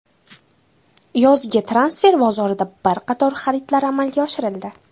Yozgi transfer bozorida bir qator xaridlar amalga oshirildi.